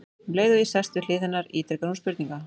Um leið og ég sest við hlið hennar ítrekar hún spurninguna.